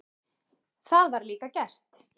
Það var líka gert.